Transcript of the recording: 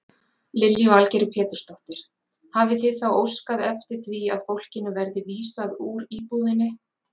Lillý Valgerður Pétursdóttir: Hafið þið þá óskað eftir því að fólkinu verði vísað úr íbúðinni?